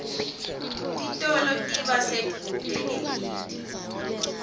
titolo tiba sedvute nemiti